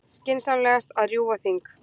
Skynsamlegast að rjúfa þing